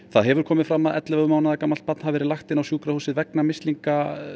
það hefur komið fram að ellefu mánaða barn hafi verið lagt inn á sjúkrahúsið vegna mislinga